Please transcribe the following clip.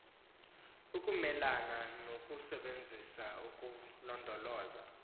ukumelana nokusebenzisa nokulondoloza